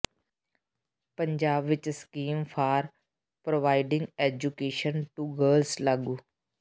ਪੰਜਾਬ ਵਿਚ scheme for providing education to girls ਲਾਗੂ